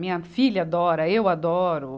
Minha filha adora, eu adoro.